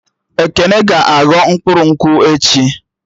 Ekene ga-aghọ mkpụrụ nkwụ echi